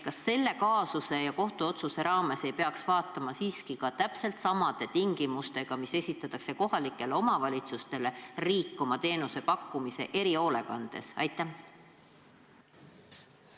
Kas selle kaasuse ja kohtuotsuse raames ei peaks vaatama siiski ka seda, et täpselt samad tingimused, mis esitatakse kohalikele omavalitsustele, peab tagama ka riik, kui pakub erihoolekande teenust?